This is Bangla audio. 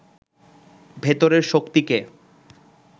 ভেতরের শক্তিকে